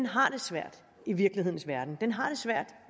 har det svært i virkelighedens verden den har det svært